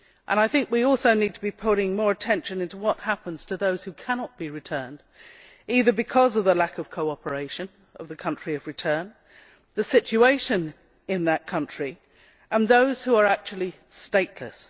I think we also need to be paying more attention to those who cannot be returned, either because of the lack of cooperation of the country of return or the situation in that country and of those who are actually stateless.